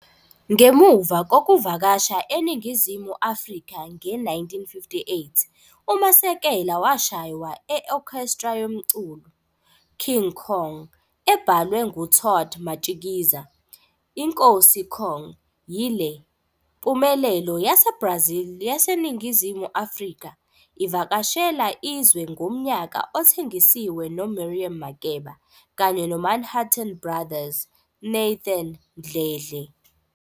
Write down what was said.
Ngemuva kokuvakasha eNingizimu Afrika nge-1958, uMasekela washaywa e-orchestra yomculo " King Kong", ebhalwe ngu-Todd Matshikiza. "'INkosi Kong' 'yile mpumelelo yaseBrazil yaseNingizimu Afrika, ivakashela izwe ngomnyaka othengisiwe no Miriam Makeba kanye noManhattan Brothers' Nathan Mdledle.